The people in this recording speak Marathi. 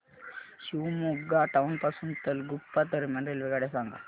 शिवमोग्गा टाउन पासून तलगुप्पा दरम्यान रेल्वेगाड्या सांगा